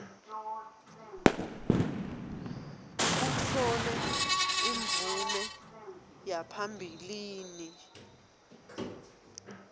kutfole imvume yaphambilini